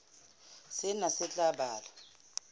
sena se tla ba le